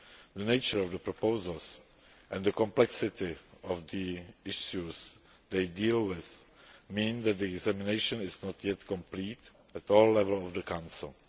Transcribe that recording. The nature of the proposals and the complexity of the issues they deal with mean that the examination is not yet complete at all levels of the Council.